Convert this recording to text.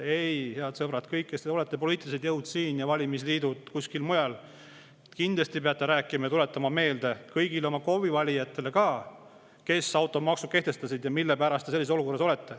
Ei, head sõbrad, kõik poliitilised jõud siin ja valimisliidud kuskil mujal, kindlasti peate te tuletama meelde kõigile oma valijatele ka KOV-i, kes automaksu kehtestasid ja mille pärast nad sellises olukorras on.